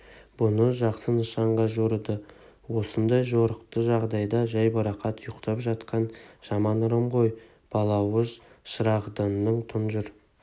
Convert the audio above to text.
мұны жақсы нышанға жорыды осындай жорықты жағдайда жайбарақат ұйықтап жатқан жаман ырым ғой балауыз шырағданның тұнжыр